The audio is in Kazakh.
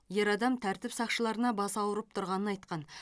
ер адам тәртіп сақшыларына басы ауырып тұрғанын айтқан